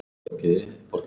Hvers vegna ekki þú?